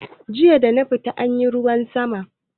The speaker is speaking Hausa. Jiya dana fita ana ruwan sama